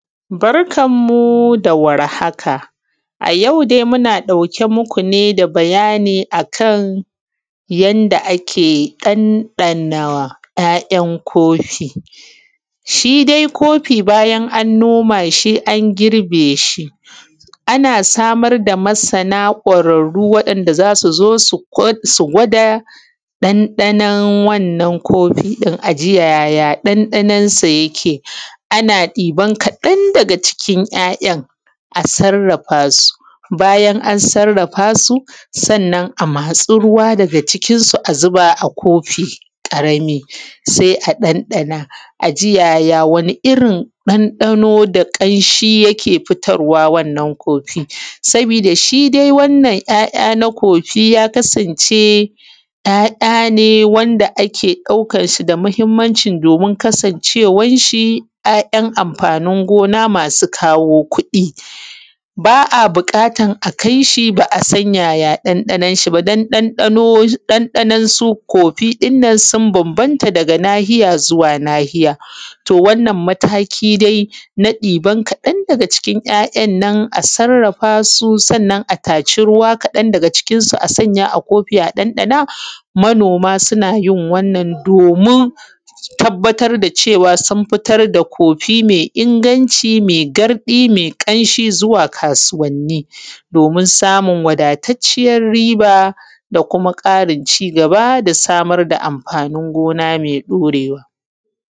Barkan mu da warhaka a yau dai inna ɗauke muku da bayani ne akan yanda ake ɗanɗana ‘ya’’yan’ kofi. Shi dai kofi bayan an noma shi an girbe shi anna samar da masana kwararru wanda zasu zo su gwada ɗan ɗanon wannan kofi ɗin. aji yaya ɗan ɗanon sa yake ana ɗiban kaɗan daga cikin ‘ya’’yan’ a sarrafa su bayan an sarrarfa su sannan a matsi ruwa daga cikin su a zuba a kofi ƙarami sai a ɗan ɗan aji ya wani irrin ɗan ɗano da kamshi yake bayarwa wannan kofi ɗin. sabi da shidai wannan ‘ya’ya’ na kofi ya kasance ‘ya’’ya’ ne wanda ake ɗaukan su da mahimmanci domin kasancewan shi ‘ya’’yan’ amfanin gona masu kawo kuɗi. ba’a buƙatan akai shi ba’a ɗan ɗana ɗan ɗanon ba saboda ɗan ɗanon su kofi ɗinnan ya banbanta daga nahiya zuwa nahiya, to wannan mataki dai na ɗiban wasu daga ciki ‘ya’’yan kofi ɗinnan dan a taci ruwa daga cikin a zuba kofi a ɗan ɗana manoma sunayin wannan domin su tabbatar da cewa sun fitar da kofi mai inganci zuwa kasuwanni domin samun riba da kuma Karin cigaba da noma amfanin gona mai ɗorewa.